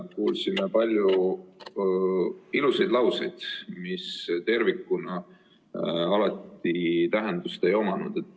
Kuulsime palju ilusaid lauseid, mis tervikuna alati tähendust ei omanud.